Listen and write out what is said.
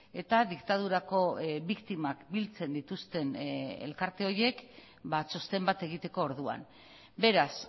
eta diktadurako biktimak biltzen dituzten elkarte horiek txosten bat egiteko orduan beraz